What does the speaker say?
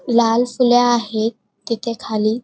लाल फुले आहे तिथे खाली.